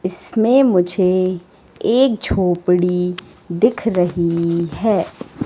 इसमें मुझे एक झोपड़ी दिख रही है।